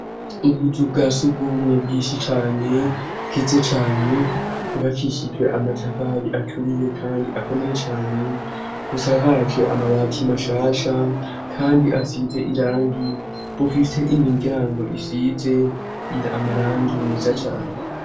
Ubuzu bwa si urw'umwe bwishi cane, bwiza cane, bwubakishijwe amatafari aturiye kandi akomeye cane, busakaje amabati mashasha kandi asize irangi, bufise imiryango isize amarangi meza cane.